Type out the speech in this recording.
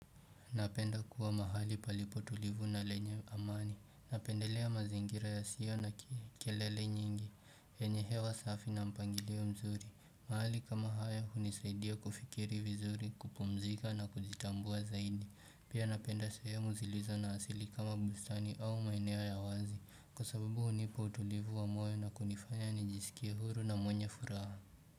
Napenda kuwa mahali palipo tulivu na lenye amani, napendelea mazingira yasio na kelele nyingi, yenye hewa safi na mpangilio mzuri mahali kama haya hunisaidia kufikiri vizuri, kupumzika na kuzitambua zaidi Pia napenda sehemu zilizo na asili kama bustani au maeneo ya wazi, kwa sababu hunipa utulivu wa moyo na kunifanya nijisikie huru na mwenye furaha.